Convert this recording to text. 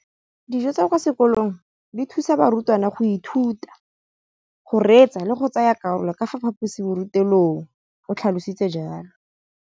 Dijo tsa kwa sekolong dithusa barutwana go ithuta, go reetsa le go tsaya karolo ka fa phaposiborutelong, o tlhalositse jalo.